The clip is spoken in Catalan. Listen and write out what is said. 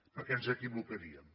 perquè ens equivocaríem